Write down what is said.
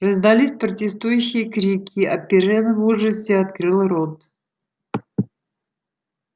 раздались протестующие крики а пиренн в ужасе открыл рот